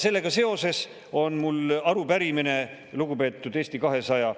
Sellega seoses on mul arupärimine lugupeetud Eesti 200